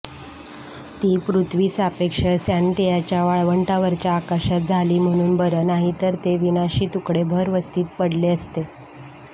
ती पृथ्वीसापेक्ष सॅनेटियाच्या वाळवंटावरच्या आकाशात झाली म्हणून बरं नाहीतर ते विनाशी तुकडे भरवस्तीत पडले असते